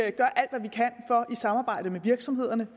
samarbejde med virksomhederne